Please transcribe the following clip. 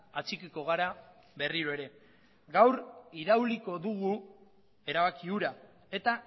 atxikiko gara berriro ere gaur irauliko dugu erabaki hura eta